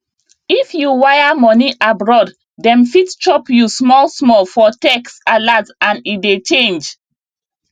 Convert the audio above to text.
if you wire money abroad dem fit chop you smallsmall for text alert and e dey change